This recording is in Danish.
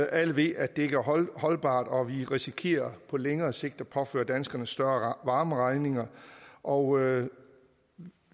alle ved at det ikke er holdbart og vi risikerer på længere sigt at påføre danskerne større varmeregninger og